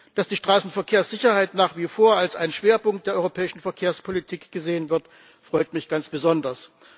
Dass die Straßenverkehrssicherheit nach wie vor als ein Schwerpunkt der europäischen Verkehrspolitik gesehen wird, freut mich ganz besonders.